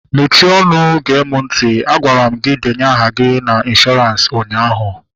Mechie ọnụ gee mụ ntị! Agwara m gị denye aha gị na ịnshọransị ụnyaahụ